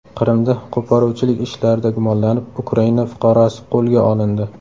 Qrimda qo‘poruvchilik ishlarida gumonlanib Ukraina fuqarosi qo‘lga olindi.